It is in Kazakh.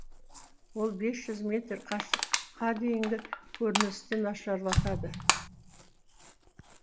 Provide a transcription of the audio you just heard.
ол бес жүз метр қашықтыққа дейінгі көріністі нашарлатады